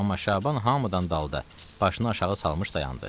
Amma Şaban hamıdan dalda başını aşağı salmış dayandı.